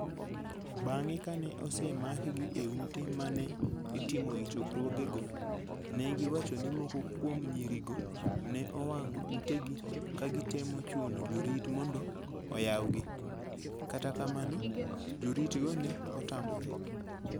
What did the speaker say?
Bang ' kane osemakgi e ute ma ne itimoe chokruogego, ne giwacho ni moko kuom nyirigo ne owang'o utegi ka gitemo chuno jorit mondo oyawgi, kata kamano, joritgo ne otamore.